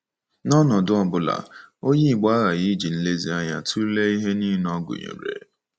N’ọnọdụ ọ bụla, Onye Igbo aghaghị iji nlezianya tụlee ihe nile ọ gụnyere.